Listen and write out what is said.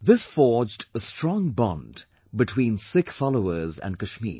This forged a strong bond between Sikh followers and Kashmir